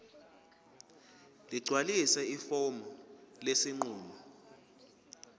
ligcwalise ifomu lesinqumo